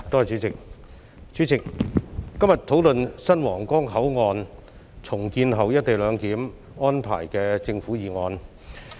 主席，今天，本會討論有關新皇崗口岸在重建後實施"一地兩檢"安排的政府議案。